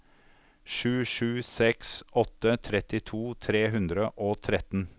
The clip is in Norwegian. sju sju seks åtte trettito tre hundre og tretten